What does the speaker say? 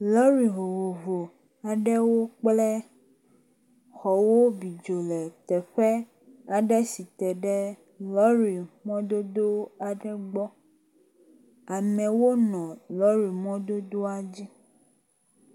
Lɔri vovovo aɖewo kple xɔwo bi dzo le teƒe aɖe si te ɖe lɔri mɔdodo aɖe gbɔ. Amewo nɔ lɔri mɔdodoa dzi.